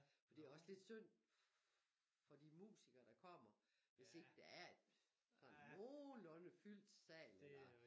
For det også lidt synd for de musikere der kommer hvis ikke der er en sådan nogenlunde fyldt sal eller